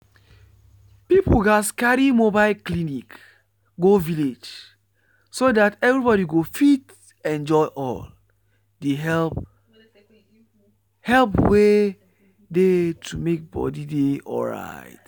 people gatz carry mobile clinic go village so that everybody go fit enjoy all the help help wey dey to make body dey alright.